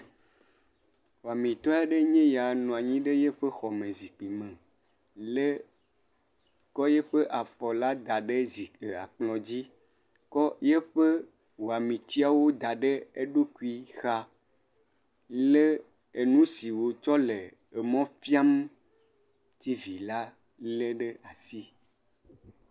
Amegã aɖee nye ya nɔ anyi ɖe yeƒe xɔme zikpime. Lé, kɔ yiƒe afɔla da ɖe zikpia kplɔ̃dzi. Kɔ yiƒe wɔmetiawo da ɖe eɖokui xaa, lé enu si wòtsɔ le emɔ fiam tiivi la lé ɖe asi.